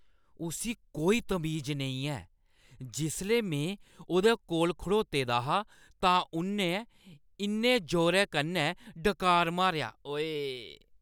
उस्सी कोई तमीज नेईं ऐ। जिसलै में उʼदे कोल खड़ोते दा हा तां उन्नै इन्ने जोरै कन्नै डकार मारेआ, ओऐऽ।